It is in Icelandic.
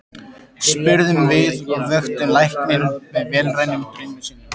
spurðum við og vöktum lækninn af vélrænum draumi sínum.